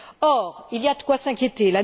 Or, il y a de quoi s'inquiéter.